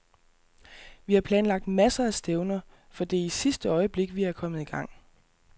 Vi har planlagt masser af stævner, for det er i sidste øjeblik, vi er kommet i gang.